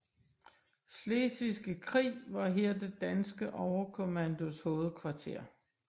Slesvigske Krig var her det danske overkommandos hovedkvarter